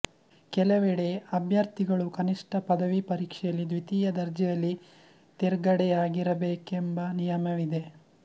ಕೆಲವೆಡೆ ಅಭ್ಯರ್ಥಿಗಳು ಕನಿಷ್ಟ ಪದವಿ ಪರೀಕ್ಷೆಯಲ್ಲಿ ದ್ವಿತೀಯ ದರ್ಜೆಯಲ್ಲಿ ತೆರ್ಗಡೆಯಾಗಿರಬೇಕೆಂಬನಿಯಮವಿದೆ